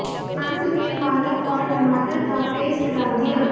अंत में पालक और टमाटर का पेस्ट डाल दिया